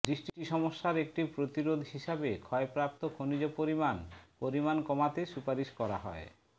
দৃষ্টি সমস্যার একটি প্রতিরোধ হিসাবে ক্ষয়প্রাপ্ত খনিজ পরিমাণ পরিমাণ কমাতে সুপারিশ করা হয়